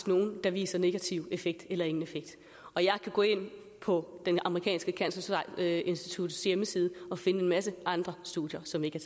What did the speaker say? nogle der viser negativ effekt eller ingen effekt og jeg kan gå ind på det amerikanske cancerinstituts hjemmeside og finde en masse andre studier som ikke